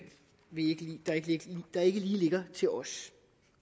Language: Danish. lige ligger til os